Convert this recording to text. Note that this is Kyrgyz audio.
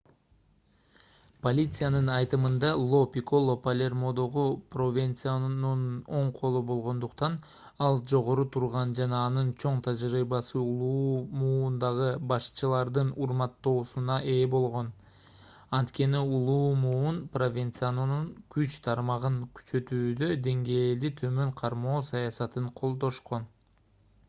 полициянын айтымында ло пикколо палермодогу провенцанонун оң колу болгондуктан ал жогору турган жана анын чоң тажрыйбасы улуу муундагы башчылардын урматтоосуна ээ болгон анткени улуу муун провенцанонун күч тармагын күчөтүүдө деңгээлди төмөн кармоо саясатын колдошкон